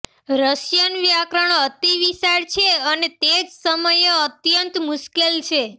Russian વ્યાકરણ અતિ વિશાળ છે અને તે જ સમયે અત્યંત મુશ્કેલ છે